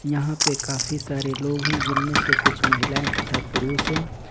यहां पे काफी सारे लोग हैं जिनमें से कुछ महिलाएं तथा पुरुष है।